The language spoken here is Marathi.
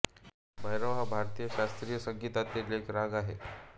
भैरव हा भारतीय शास्त्रीय संगीतातील एक राग आहे